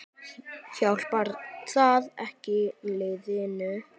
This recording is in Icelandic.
Hjálpar það ekki liðinu?